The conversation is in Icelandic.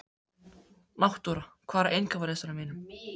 Náttúra, hvað er á innkaupalistanum mínum?